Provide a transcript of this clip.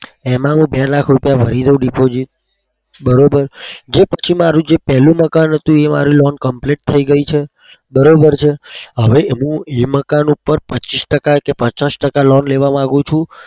એમાં હું બે લાખ રૂપિયા ભરી દઉ Deposit બરોબર? જે પછી મારું જે પેલું મકાન હતું એ મારી loan complete થઇ ગઈ છે બરોબર છે હવે હું એ મકાન ઉપર ટકા પચીસ કે પચાસ ટકા loan લેવા માગું છું.